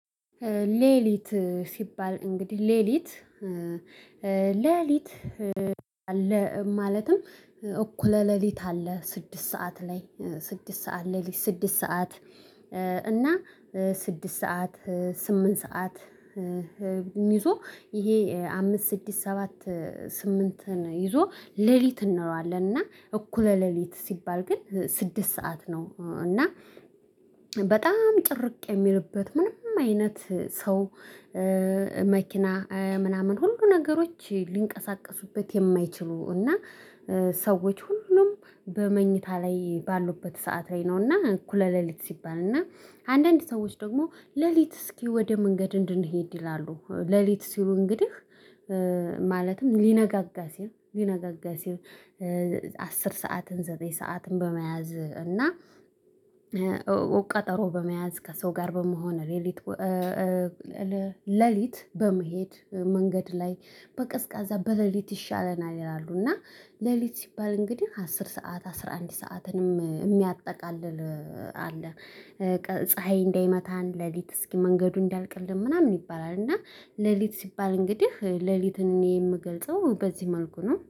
ሌሊት ሲባል እንግዲህ ሌሊት ሌሊት አለ ማለትም እኩለ ሌሊት አለ ስድስት ሰዓት። እና ስድስት ሰዓት ስምንት ሰዓት። ይዞ ይሄ አምስት ስድስት ሰባት ስምንትን ይዞ ሌሊት እንለዋለን። እና እኩለ ሌሊት ሲባል ግን ስድስት ሰዓት ነው እና በጣም ጭርቅ የሚልበት ምንም አይነት ሰው። መኪና ምናምን ሁሉ ነገሮች ሊንቀሳቀሱበት የማይችሉ እና። ሰዎች ሁሉም በመኝታ ላይ ባሉበት ሰዓት ላይ ነውና እኩለ ሌሊት ሲባል። እና አንዳንድ ሰዎች ደግሞ ሌሊት እስኪ ወደ መንገድ እንድንሄድ ይላሉ ሌሊት ሲሉ እንግዲህ። ማለትም ሊነጋጋ ሲል ሊነጋጋ ሲል። አስር ሰዓትን ዘጠኝ ሰዓትን በመያዝ እና ቀጠሮ በመያዝ ከሰው ጋር በመሆን ሌሊት። በመሄድ መንገድ ላይ በቅስቀዛ በሌሊት ይሻለናል ይላሉ። እና ሌሊት ሲባል እንግዲህ አስር ሰዓት አስራ አንድ ሰዓትንም የሚያጠቃልል አለ። ፀሀይ እንዳይመታን ሌሊት እስኪ መንገዱ እንዲልቅልን ምናምን ይባላል። እና ሌሊት ሲባል እንግዲህ ሌሊትን እኔ የምገልጸው በዚህ መልኩ ነው